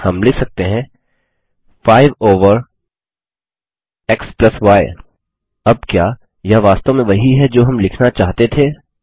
हम लिख सकते हैं 5 ओवर एक्स य अब क्या यह वास्तव में वही है जो हम लिखना चाहते थे